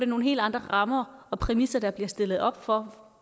nogle helt andre rammer og præmisser der bliver stillet op for